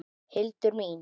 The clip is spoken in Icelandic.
Hildur mín!